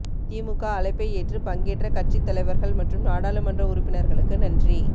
திமுக அழைப்பை ஏற்று பங்கேற்ற கட்சி தலைவர்கள் மற்றும் நாடாளுமன்ற உறுப்பினர்களுக்கு நன்றி